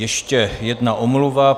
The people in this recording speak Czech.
Ještě jedna omluva.